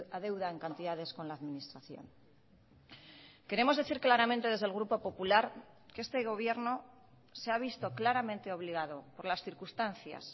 adeudan cantidades con la administración queremos decir claramente desde el grupo popular que este gobierno se ha visto claramente obligado por las circunstancias